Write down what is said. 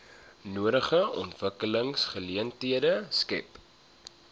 nodige ontwikkelingsgeleenthede skep